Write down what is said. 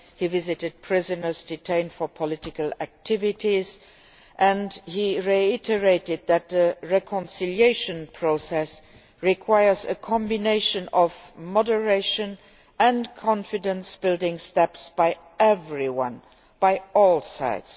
he visited prisoners detained for political activities and he reiterated that a reconciliation process requires a combination of moderation and confidence building steps by everyone, by all sides.